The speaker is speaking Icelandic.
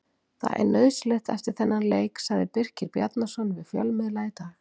Það er nauðsynlegt eftir þennan leik, sagði Birkir Bjarnason við fjölmiðla í dag.